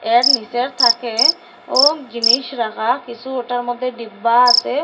এর নিসের থাকে ও জিনিস রাখা কিসু ওটার মধ্যে ডিব্বা আসে।